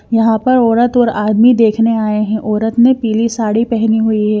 यहां पर औरत और आदमी देखने आए हैं औरत ने पीली साड़ी पहनी हुई है।